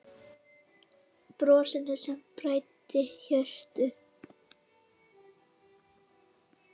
Brosinu sem bræddi hjörtu.